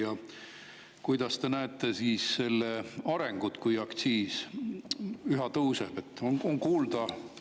Ja kuidas te näete selle arengut siis, kui aktsiis üha tõuseb?